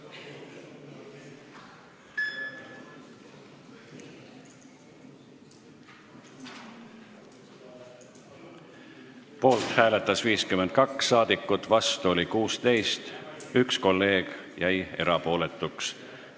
Hääletustulemused Poolt hääletas 52 rahvasaadikut, vastu oli 16, 1 kolleeg jäi erapooletuks.